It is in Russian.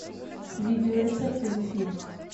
видео рецепты зефир